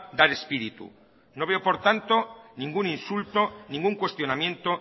dar espíritu no veo pro tanto ningún insulto ningún cuestionamiento